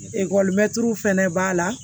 Ekɔlimɛtiriw fɛnɛ b'a la